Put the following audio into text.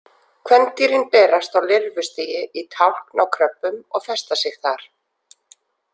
Kvendýrin berast á lirfustigi í tálkn á kröbbum og festa sig þar.